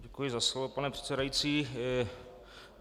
Děkuji za slovo, pane předsedající.